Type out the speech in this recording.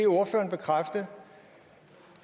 ordføreren bekræfte